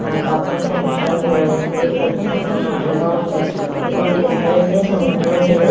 ఆకాశం సముద్రం దూరం నుండి కలిసినట్లు ఉన్నట్టుగా ఉంది మీకు ఒకటి తెలుసా అండి సముద్రం నీరు --